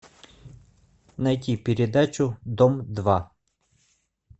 найти передачу дом два